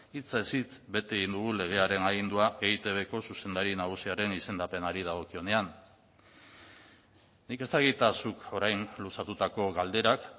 hitzez hitz bete dugu legearen agindua eitbko zuzendari nagusiaren izendapenari dagokionean nik ez dakit zuk orain luzatutako galderak